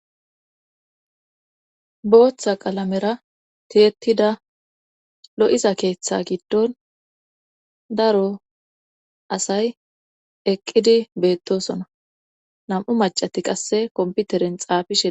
Booththa qalamera tiyettida lo'iza keeththe giddon daro asay eqqidi beettosona nam'u macati qasse komputeren xaafishe.